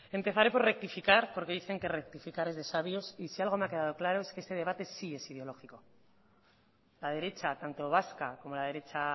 empezaré por rectificar porque dicen que rectificar es de sabios y si algo me ha quedado claro es que este debate sí es ideológico la derecha tanto vasca como la derecha